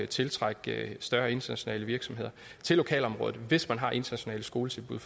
tiltrække større internationale virksomheder til lokalområdet hvis man har internationale skoletilbud